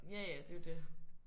Ja ja det er jo det